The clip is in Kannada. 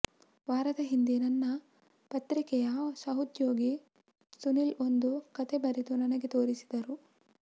ವಾರದ ಹಿಂದೆ ನನ್ನ ಪತ್ರಿಕೆಯ ಸಹೋದ್ಯೋಗಿ ಸುನಿಲ್ ಒಂದು ಕತೆ ಬರೆದು ನನಗೆ ತೋರಿಸಿದರು